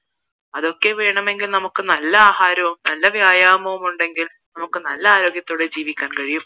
അതൊക്കെ വേണമെങ്കിൽ നമുക്ക് നല്ല ആഹാരവും നല്ല വ്യായാമവും ഉണ്ടെങ്കിൽ നമുക്ക് നല്ല ആരോഗ്യത്തോടെ ജീവിക്കാൻ കഴിയും